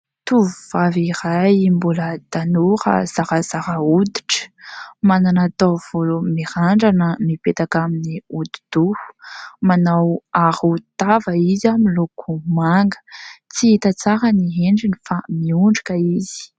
Tovovavy iray mbola tanora zarazara hoditra. Manana taovolo mirandrana mipetaka amin'ny odi-doha. Manao arovava izy amin'ny loko manga, tsy hita tsara ny endriny fa miondrika izy.